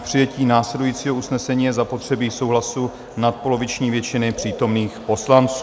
K přijetí následujícího usnesení je zapotřebí souhlasu nadpoloviční většiny přítomných poslanců.